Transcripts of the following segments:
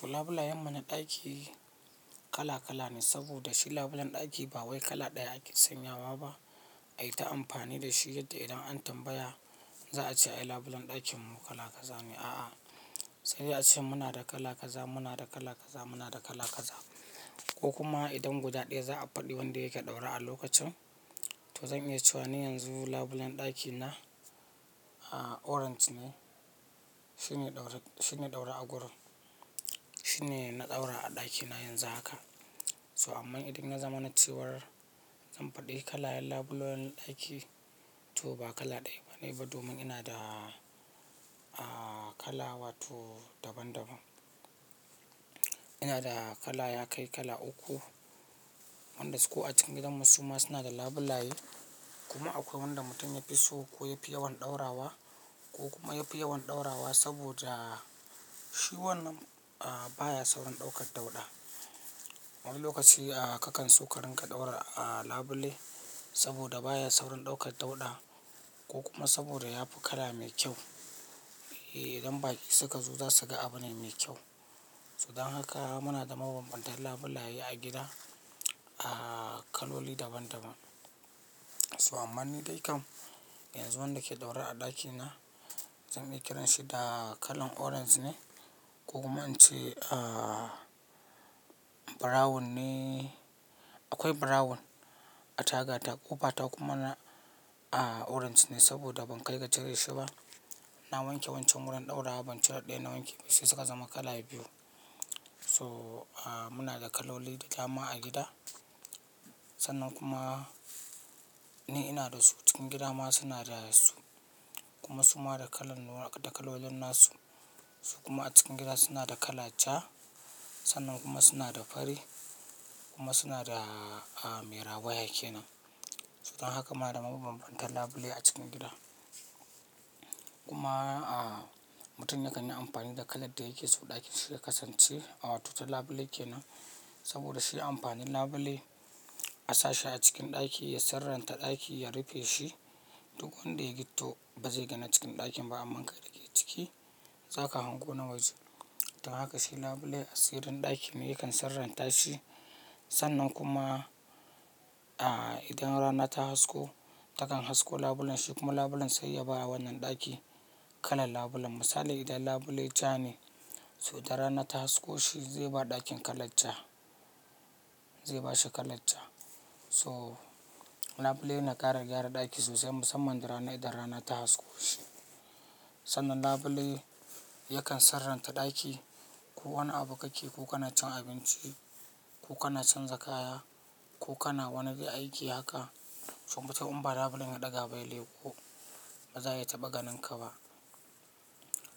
To labulayan mana ɗaki kala kala ne, saboda shi labulen ɗaki ba wai kala ɗaya ake sanyawa ba ayi ta amfani da shi yadda idan an tambaya za a ce ai labulen ɗakin mu kala kaza ne a'a sai za a ce muna da kala kaza, muna da kala kaza, muna da kala kaza ko kuma idan guda ɗaya za a faɗi wanda yake ɗaura a lokacin. To zan iya cewa na yanzu labulen ɗaki na orange ne, shine ɗaura agurin, shine na ɗaura a ɗaki na yanzu haka. So amma idan na zama na cewar zan faɗi kalan labulen ɗaki to ba kala ɗaya bane ba domin ina da kala wato daban daban. Ina da kala ya kai kala uku, wanda su ko a cikin gidan mu suma suna da labulaye kuma akwai wanda mutum yafi so ko yafi yawan ɗaura wa ko kuma yafi yawan ɗaura wa saboda shi wannan baya saurin ɗaukar dauɗa. Wani lokaci kakan so ka rinƙa ɗaura labule saboda baya saurin ɗaukar dauɗa ko kuma saboda yafi kala mai kyau. Idan baƙi suka zo za su ga abune mai kyau. Don haka muna da mabanbantan labulaye a gida kaloli daban daban. So amma ni dai kam yanzu wanda ke ɗaura a ɗaki na zan iya kiran shi da kalan orange ne ko kuma an ce brown ne, akwai brown a tagar ta ƙofa ta kuma orange ne saboda ban kai ga cire shi ba. Na wanke wancan wurin ɗaura ba inciri ɗaya na wanke ba sai suka zama kala biyu. So muna da kaloli da dama a gida sannan kuma ni ina da su cikin gida ma suna da su kuma suma da kalolin nasu su kuma a cikin gida suna da kala ja sannan kuma suna da fari kuma suna da me rawa yake nan. Don haka muna da mabanbantan labule a cikin gida. Kuma mutum yakan yi amfani da kalar da yake so ɗakin shi ya kasance awatu ta labule kenan saboda shi amfanin labule a sashi a cikin ɗaki ya sarantar ɗaki ya rufe shi duk wanda ya gtito ba zai ga na cikin ɗakin ba amma kai da ke ciki zaka hango na waje. Don haka shi labule asirin ɗakine yakan saranta shi sannan kuma a idan rana ta hasko takan hasko labulen shi kuma labulen sai ya ba wannan ɗaki kalan labulen. Misali idan labule ja ne to idan rana ta hasko shi zai ba ɗakin kala ja, zai bashi kala ja. So labule yana ƙara gyara ɗaki sosai musamman idan rana ta hasko shi. Sannan labule yakan saranta ɗaki ko wani abu kake ko kana cin abinci ko kana canza kaya ko kana wani aiki haka so mutum in ba labulen ya ɗaga ba ya leko ba za a taɓa ganinka ba.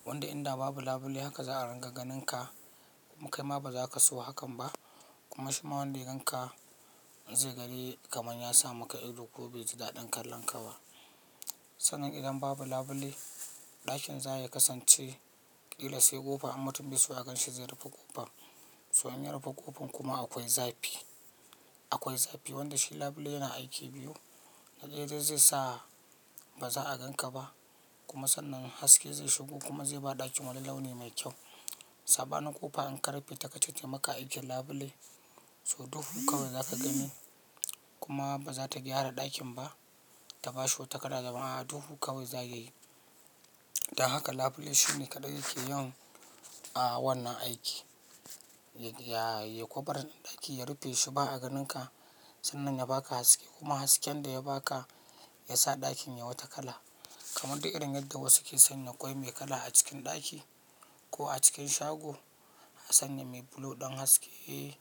Wanda idan babu labule haka za a ringa ganinka kuma kai ma ba za ka so hakan ba kuma shima wanda yagan ka zai gani kamar ya samu ka ido ko bai ji daɗin kallon ka ba. Sannan idan babu labule ɗakin zai kasance ƙila sai ƙofa amma mutum bai so a gan shi zai rufe ƙofar. So in ya rufe ƙofar kuma akwai zafi, akwai zafi wanda shi labule yana aiki biyu na ɗaya zai sa ba za a gan ka ba kuma sannan haske zai shigo kuma zai ba ɗakin wani launi mai kyau. Saba nin ƙofa in ka rufe ta kacici maka aikin labule so duhu kawai za ka gani kuma ba za ta gyara ɗakin ba ta basu takada zaman a duhu kawai za yayi. Don haka labule shine kaɗai yake yin wannan aiki. Ya ƙovar ɗaki ya rufe shi ba a ganinka sannan ya baka haske kuma hasken da ya baka ya sa ɗakin ya wata kala kamar duk irin yadda wasu ke sanya ƙwai mai kala a cikin ɗaki ko a cikin shago a sanya mai blue ɗan haske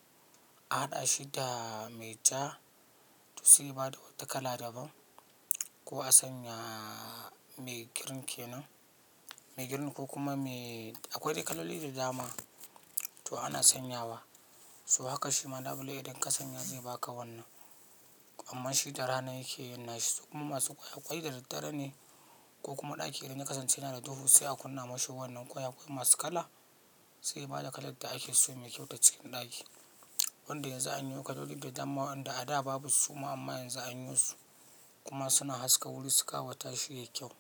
a haɗa shi da mai ja to su yi bada wata kala daban ko a sanya mai girin kenan mai girin ko kuma akwai kaloli da dama to ana sanyawa. So haka shi ma labule idan ka sanya zai baka wannan amma shi da rana yake yin nashi su kuma masu ƙwai ƙwai da daddare ne ko kuma ɗaki idan ya kasance yana da duhu sai a kunna mashi wannan ƙwai akwai masu kala sai ya bada kalar da ake so ya yi wata cikin ɗaki. Wanda yanzu an yi kaloli da dama wanda a da babu suma amma yanzu an yi su kuma suna haska wuri su ƙawata shi yayi kyau.